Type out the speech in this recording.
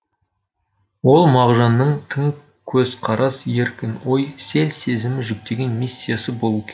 ол мағжанның тың көзқарас еркін ой сел сезімі жүктеген миссиясы болуы керек